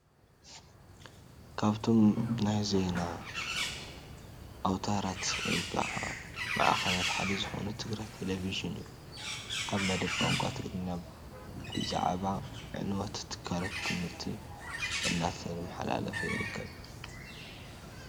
ካብቶም ናይ ትግራይ ዜና ኣውታራት ወይ ከዓ ማዕከናት ሓደ ዝኾነ ትግራይ ቴሌቢዥን እዩ፡፡ ኣብ መደብ ቋንቋ ትግርኛ ብዛዕብ ዕንወት ትካላት ት/ቲ እንዳተማሓላለፈ ይርከብ፡፡